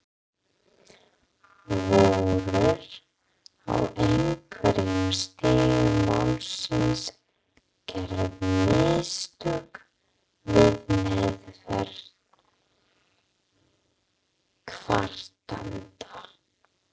Voru, á einhverjum stigum málsins, gerð mistök við meðferð kvartanda?